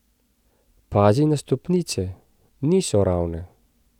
Pazi na stopnice, niso ravne.